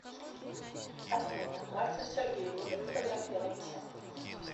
афина мальцев сергей любит фотографироваться